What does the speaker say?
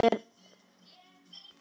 Er það öllum til góðs?